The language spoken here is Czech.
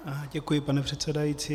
Děkuji, pane předsedající.